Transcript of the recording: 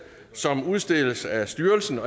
som udstedes af styrelsen